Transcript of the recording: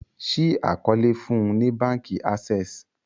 ṣii àkọọlẹ fún ní bánkì Access